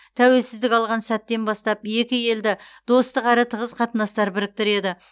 тәуелсіздік алған сәттен бастап екі елді достық әрі тығыз қатынастар біріктіреді